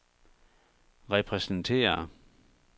repræsenterer